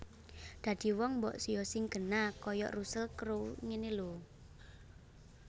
Dadi wong mbok yo sing genah koyok Russel Crowe ngene lho